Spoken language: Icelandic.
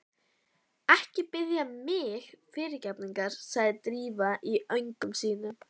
Ekki biðja mig fyrirgefningar sagði Drífa í öngum sínum.